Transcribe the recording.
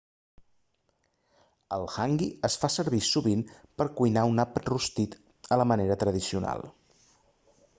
el hangi es fa servir sovint per cuinar un àpat rostit a la manera tradicional